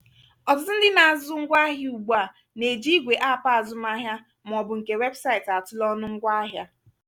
ọtụtụ ndị na-azụ ngwá ahịa ugbua na-eji igwe app azụmahịa maọbụ nke webụsaịtị atụle ọnụ ngwá ahịa.